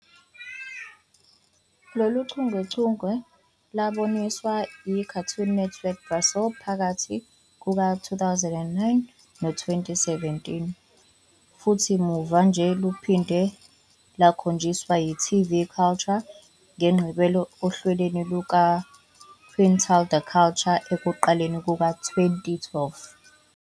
Lolu chungechunge lwaboniswa yiCartoon Network Brasil phakathi kuka-2009 no-2017, futhi muva nje luphinde lukhonjiswe yi-TV Cultura ngeMigqibelo ohlelweni lukaQuintal da Cultura ekuqaleni kuka-2012.